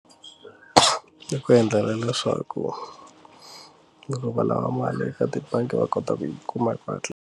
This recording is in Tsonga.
Ku endlela leswaku loko va lava mali eka tibangi va kota ku yi kuma hi ku hatlisa.